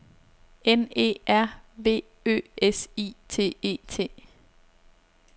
N E R V Ø S I T E T